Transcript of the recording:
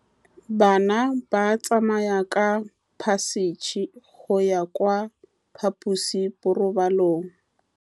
Bana ba tsamaya ka phašitshe go ya kwa phaposiborobalong.